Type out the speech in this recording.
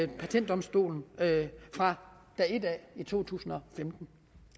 patentdomstolen fra dag et af i to tusind og femten